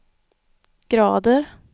grader